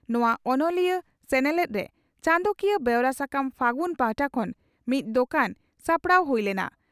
ᱱᱚᱣᱟ ᱚᱱᱚᱞᱤᱭᱟᱹ ᱥᱮᱱᱮᱞᱮᱫᱨᱮ ᱪᱟᱸᱫᱚᱠᱤᱭᱟᱹ ᱵᱮᱣᱨᱟ ᱥᱟᱠᱟᱢ 'ᱯᱷᱟᱹᱜᱩᱱ' ᱯᱟᱦᱴᱟ ᱠᱷᱚᱱ ᱢᱤᱫ ᱫᱚᱠᱟᱱ ᱥᱟᱯᱲᱟᱣ ᱦᱩᱭ ᱞᱮᱱᱟ ᱾